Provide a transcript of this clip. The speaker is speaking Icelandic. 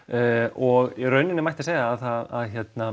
og í raun mætti segja að